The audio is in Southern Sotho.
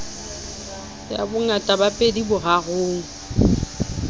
ya bongata ba pedi borarong